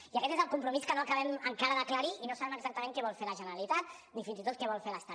i aquest és el compromís que no acabem encara d’aclarir i no sabem exactament què vol fer la generalitat ni fins i tot què vol fer l’estat